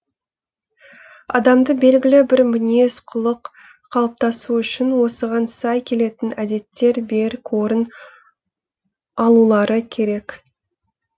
адамды белгілі бір мінез құлық қалыптасуы үшін осыған сай келетін әдеттер берік орын алулары керек